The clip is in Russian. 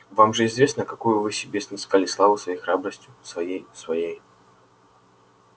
вам же известно какую вы себе снискали славу своей храбростью своей своей